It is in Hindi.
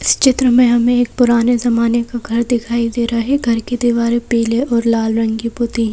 इस चित्र में हमें एक पुराने जमाने का घर दिखाई दे रहा है घर की दीवार पीले और लाल रंग की पुती है।